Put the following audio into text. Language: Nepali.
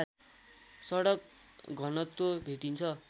सडक घनत्व भेटिन्छ